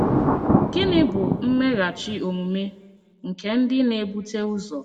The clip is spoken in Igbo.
Gịnị bụ mmeghachi omume nke ndị na-ebute ụzọ?